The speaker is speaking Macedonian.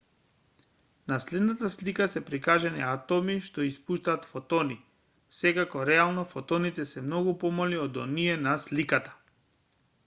на следната слика се прикажани атоми што испуштаат фотони секако реално фотоните се многу помали од оние на сликата